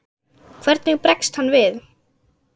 Hvernig bregst hann við?